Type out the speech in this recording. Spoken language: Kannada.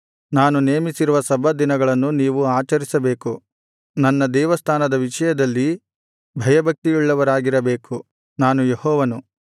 ನಾನು ನೇಮಿಸಿರುವ ಸಬ್ಬತ್ ದಿನಗಳನ್ನು ನೀವು ಆಚರಿಸಬೇಕು ನನ್ನ ದೇವಸ್ಥಾನದ ವಿಷಯದಲ್ಲಿ ಭಯಭಕ್ತಿಯುಳ್ಳವರಾಗಿರಬೇಕು ನಾನು ಯೆಹೋವನು